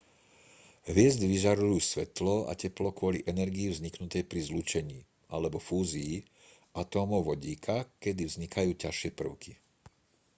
hviezdy vyžarujú svetlo a teplo kvôli energii vzniknutej pri zlúčení alebo fúzii atómov vodíka kedy vznikajú ťažšie prvky